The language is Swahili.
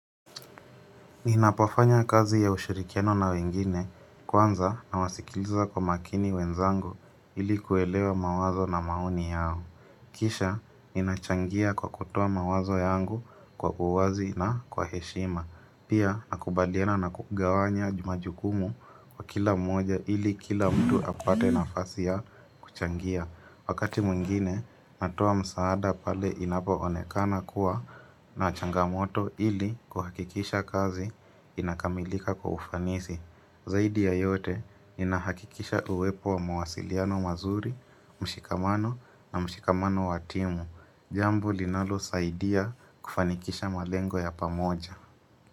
Ninapofanya kazi ya ushirikiano na wengine kwanza nawasikiliza kwa makini wenzangu ili kuelewa mawazo na maoni yao. Kisha ninachangia kwa kutoa mawazo yangu kwa uwazi na kwa heshima. Pia nakubaliana na kugawanya ju majukumu kwa kila mmoja ili kila mtu apate nafasi ya kuchangia. Wakati mwingine, natoa msaada pale inapoonekana kuwa na changamoto ili kuhakikisha kazi inakamilika kwa ufanisi. Zaidi ya yote, ninahakikisha uwepo wa mawasiliano mazuri, mshikamano na mshikamano wa timu. Jambo linalosaidia kufanikisha malengo ya pamoja.